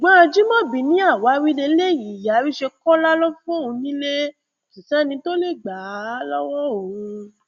ṣùgbọn ajimọbi ni àwáwí lélẹyìí àríṣekọlá ló fóun nílé kò sì sẹni tó lè gbà á lọwọ òun